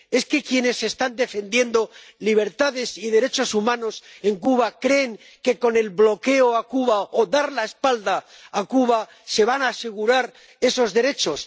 ¿Es que quienes están defendiendo libertades y derechos humanos en Cuba creen que con el bloqueo a Cuba o dando la espalda a Cuba se van a asegurar esos derechos?